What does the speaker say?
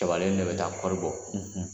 ne bɛ taa kɔɔri bɔ.